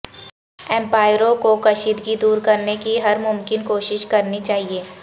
امپائروں کو کشیدگی دور کرنے کی ہر ممکن کوشش کرنے چاہیئے